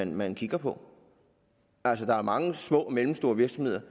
man kigger på altså der er mange små og mellemstore virksomheder